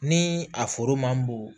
Ni a foro man bon